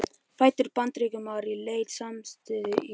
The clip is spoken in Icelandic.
Fæddur Bandaríkjamaður í leit að samastað í tilverunni.